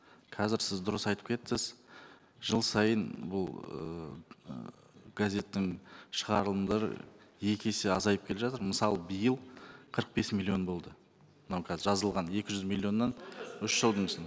қазір сіз дұрыс айтып кеттіз жыл сайын бұл ыыы газеттің шығарылымдары екі есе азайып келе жатыр мысалы биыл қырық бес миллион болды мынау қазір жазылған екі жүз миллионнан үш жылдың